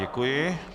Děkuji.